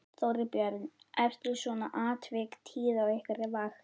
Þorbjörn: Eru svona atvik tíð á ykkar vakt?